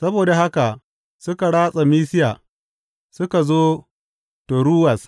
Saboda haka suka ratsa Misiya suka zo Toruwas.